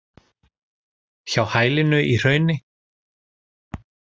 Hjá hælinu í hrauni.